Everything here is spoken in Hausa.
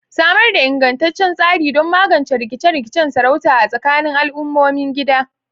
Samar da ingantaccen tsari don magance rikice-rikicen sarauta a tsakanin al'ummomin gida.